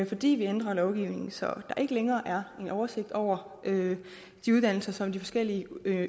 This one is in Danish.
fordi vi ændrer lovgivningen så der ikke længere er en oversigt over de uddannelser som de forskellige